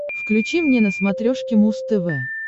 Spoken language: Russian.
включи мне на смотрешке муз тв